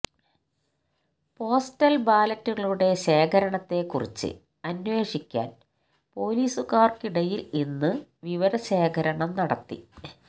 postal ബാലറ്റുകളുടെ ശേഖരണത്തെക്കുറിച്ച് അന്വേഷിക്കാന് പൊലീസുകാര്ക്കിടയില് ഇന്ന് വിവരശേഖരണം നടത്തി